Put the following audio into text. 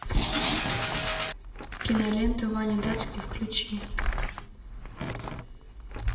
кинолента ваня датский включи